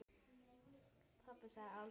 Pabbi sagði aldrei neitt.